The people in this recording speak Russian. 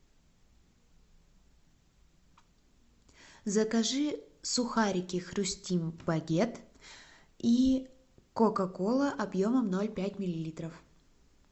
закажи сухарики хрустим багет и кока кола объемом ноль пять миллилитров